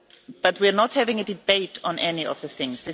But we are not having a debate on any of these things.